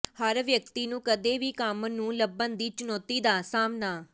ਹਰ ਵਿਅਕਤੀ ਨੂੰ ਕਦੇ ਵੀ ਕੰਮ ਨੂੰ ਲੱਭਣ ਦੀ ਚੁਣੌਤੀ ਦਾ ਸਾਹਮਣਾ